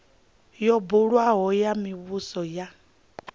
yo buliwaho ya muvhuso ya